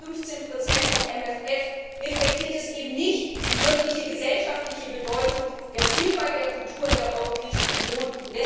Mit 0,15 vom MFR reflektiert er eben nicht die wirkliche gesellschaftliche Bedeutung der Vielfalt der Kultur der Europäischen Union.